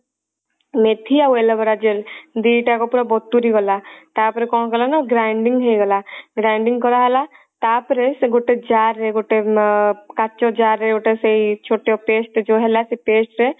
ମେଥି ଆଉ aloe vera gel ଦି ଟାକ ପୁରା ବତୁରି ଗଲା ତାପରେ କଣ କଲେ ନା grinding ହେଇଗଲା grinding କରାହେଲା ତାପରେ ସେ ଗୋଟେ jar ରେ ଗୋଟେ ମ କାଚ jar ରେ ସେଇ ଛୋଟ paste ଯଉ ହେଲା ସେଇ paste ରେ